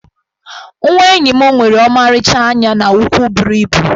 Nwa enyi m nwere ọmarịcha anya na ụkwụ buru ibu.